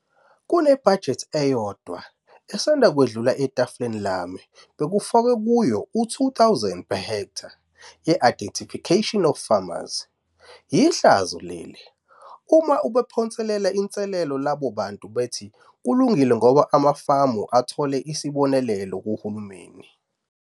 Kunebhajethi eyodwa esanda kwedlula etafuleni lami bekufakwe kuyo u-R 2 000 per ha ye-"identification of farmers" - yihlazo leli. Uma ubaphonsela inselelo labo bantu bathi kulungile ngoba amafama athola "isibonelelo" kuHulumeni.